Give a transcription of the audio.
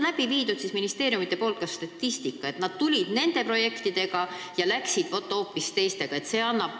Kas ministeeriumid on teinud ka statistikat, et nad tulid nende projektidega, aga läksid, vaat, hoopis teistega?